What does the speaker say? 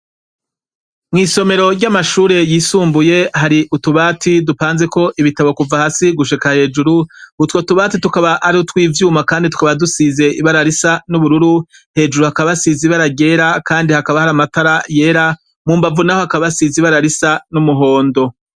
Mw'isomero ry'amashuri yisumbuye hari utubati dupanzeko ibitabo kuva hasi gushika hejuru utwo tubati tukaba ari utwivyuma kandi tukaba dusize ibara risa n'ubururu hejuru hakaba hasize ibra ryera kandi hakaba hari amatara yera mu mbavu naho hakaba hasize ibara risa n'umuhondo.